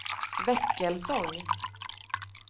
Väckelsång